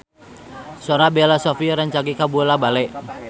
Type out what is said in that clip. Sora Bella Shofie rancage kabula-bale